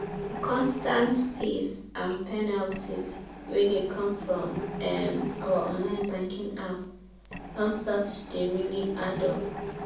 the constant fees and penalties wey dey come from um our online banking app don start to dey really add up.